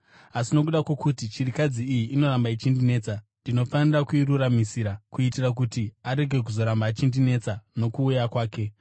asi nokuda kwokuti chirikadzi iyi inoramba ichindinetsa, ndinofanira kuiruramisira, kuitira kuti arege kuzoramba achindinetsa nokuuya kwake!’ ”